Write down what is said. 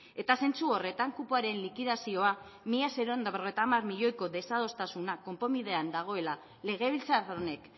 eta zentzu horretan kupoaren likidazioa mila seiehun eta berrogeita hamar milioiko desadostasuna konponbidean dagoela legebiltzar honek